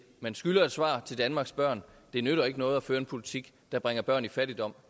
man skylder et svar til danmarks børn det nytter ikke noget at føre en politik der bringer børn i fattigdom